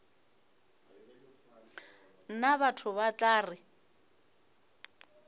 nna batho ba tla re